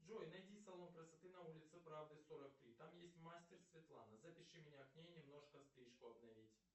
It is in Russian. джой найди салон красоты на улице правды сорок три там есть мастер светлана запиши меня к ней немножко стрижку обновить